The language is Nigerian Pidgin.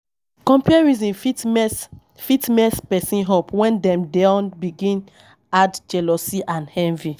Comparison fit mess person up when dem don begin add jealousy and envy